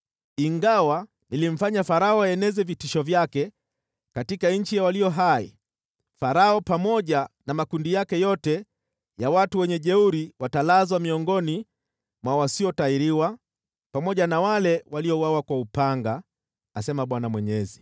Ingawa nilimfanya Farao aeneze vitisho vyake katika nchi ya walio hai, Farao pamoja na makundi yake yote ya wajeuri watalazwa miongoni mwa wasiotahiriwa, pamoja na wale waliouawa kwa upanga, asema Bwana Mwenyezi.”